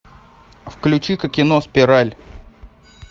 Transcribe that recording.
включи ка кино спираль